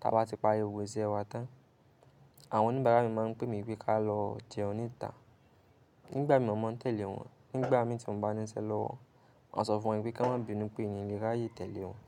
tá bá ti parí gbogbo isẹ wa tán. Àwọn oníbàárà mi máa ń pè mí pé ká lọ jẹun níta. Nígbà mí mọ̀ maa ń tẹ̀lé wọn, nígbà mi tí mo bá níṣe lọ́wọ́, maa sọ fún wọn pé ki wọn máa bi nu pé mi lè ráyè tẹ̀lé wọn.